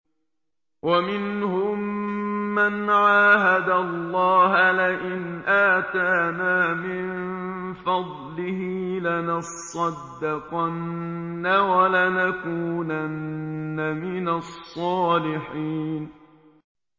۞ وَمِنْهُم مَّنْ عَاهَدَ اللَّهَ لَئِنْ آتَانَا مِن فَضْلِهِ لَنَصَّدَّقَنَّ وَلَنَكُونَنَّ مِنَ الصَّالِحِينَ